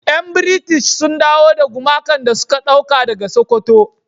Yan "British " sun dawo da gumakan da suka dauka daga sokoto.